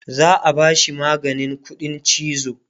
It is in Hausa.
za'a bashi maganin ƙuɗin chizo